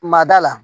Ma da la